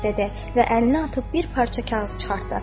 Və əlini atıb bir parça kağız çıxartdı.